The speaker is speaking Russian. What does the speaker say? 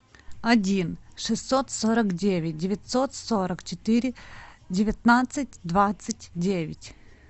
один шестьсот сорок девять девятьсот сорок четыре девятнадцать двадцать девять